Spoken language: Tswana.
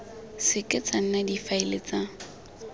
seke tsa nna difaele tsa